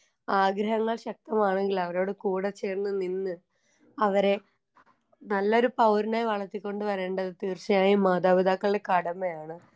ആഗ്രഹങ്ങൾ ശക്തമാകണെങ്കിൽ അവരോട് കൂടെ ചേർന്ന് നിന്ന് അവരെ നല്ലൊരു പൗരനായി വളർത്തി കൊണ്ട് വരേണ്ടത് തീർച്ചയായും മാതാപിതാക്കളുടെ കടമയാണ്.